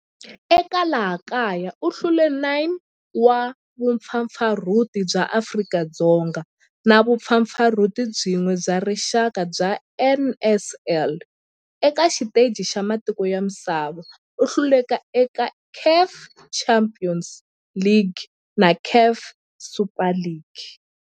Eka laha kaya u hlule 9 wa vumpfampfarhuti bya Afrika-Dzonga na vumpfampfarhuti byin'we bya rixaka bya NSL. Eka xiteji xa matiko ya misava, u hlule eka CAF Champions League na CAF Super Cup.